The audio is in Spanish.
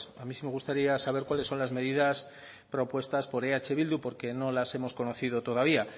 a mí sí me gustaría saber cuáles son las medidas propuestas por eh bildu porque no las hemos conocido todavía